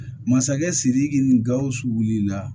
Masakɛ sidiki ni gausu wulila